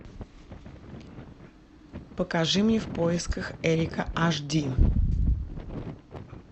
покажи мне в поисках эрика аш ди